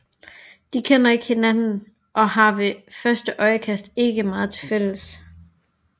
De kender ikke hinanden og har ved første øjekast ikke meget til fælles